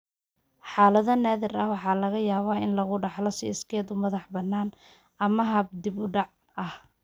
Xaalado naadir ah, waxaa laga yaabaa in lagu dhaxlo si iskeed u madax-bannaan ama hab dib-u-dhac ah.